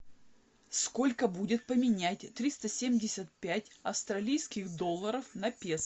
сколько будет поменять триста семьдесят пять австралийских долларов на песо